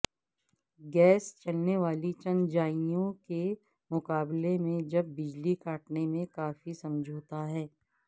gas چلنے والی چنجائیوں کے مقابلے میں جب بجلی کاٹنے میں کافی سمجھوتہ ہے